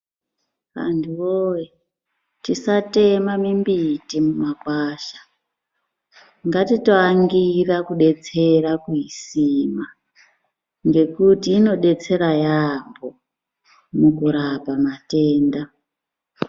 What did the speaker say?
Vantu woye tisatema mimbiti nemakwasha ngatitoangura kudetsera kuisima ngekuti inodetsera yambo mukurapa kwematenda.